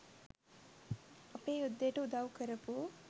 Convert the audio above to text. අපේ යුද්දෙට උදව් කරපු